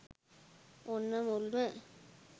ඔන්න මුල්ම